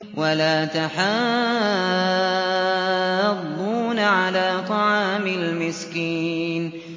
وَلَا تَحَاضُّونَ عَلَىٰ طَعَامِ الْمِسْكِينِ